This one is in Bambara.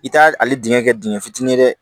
I t'a ale dingɛ kɛ dingɛ fitinin ye dɛ